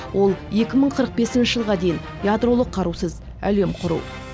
ол екі мың қырық бесінші жылға дейін ядролық қарусыз әлем құру